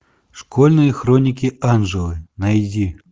школьные хроники анжелы найди